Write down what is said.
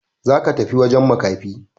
Za ka tafi wajen makafi!